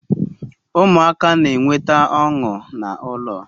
Umuaka na-enweta onu na ulo